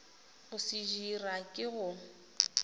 go se dira ke go